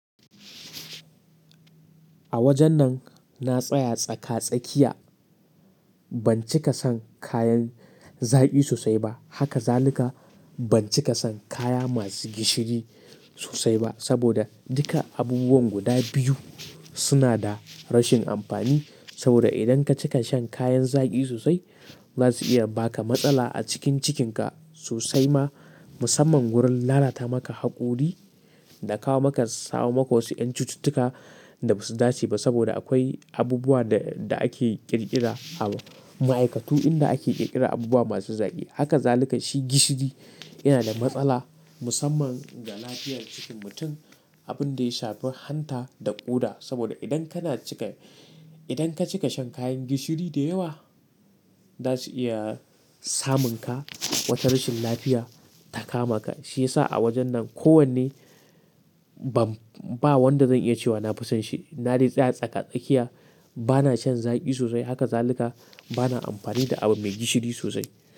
A wajen nan na tsaya tsaka-tsakiya. Ban cika son kayan zaƙi sosai ba. Haka zalika ban cika son kaya masu gishiri sosai ba. Saboda duka abubuwan guda biyu suna da rashin amfani. Saboda idan ka cika shan kayan zaƙi sosai, za su iya baka matsala a cikin cikinka sosai ma, musamman wurin lalata maka haƙori da kawo maka sawamaƙosi yan cututtuka da ba su dace ba. Saboda akwai abubuwa da, da ake ƙirƙira a ma'aikatu inda ake ƙirƙira abubuwa masu zaƙi. Haka zalika shi gishiri yana da matsala musamman ga lafiyar cikin mutum. Abin da ya shafi hanta da ƙoda. Saboda idan kana cika, idan ka cika shan kayan gishiri da yawa, za su iya samun ka wata rashin lafiya ta kama ka. Shi yasa a wajen nan kowanne ban, ba wanda zan iya cewa na fi son shi. Na dai tsaya tsaka-tsakiya. Bana shan zaƙi sosai. Haka zalika bana amfani da abu mai gishiri sosai.